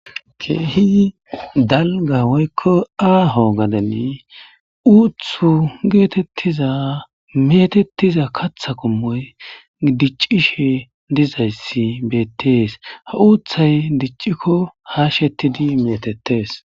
Keehi dalga woykko aaho gadeni uuththu geetetiza meetetiza kaaththa qommoy diccishe dizayssi beetees; ha uuththay dicciko haashettidi meetetees.